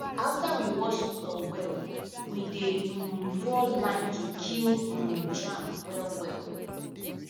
after we wash floor well we dey um pour lime to kill um germ well well